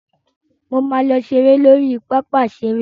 Mo máa lọ ṣeré lórí pápá ìṣeré.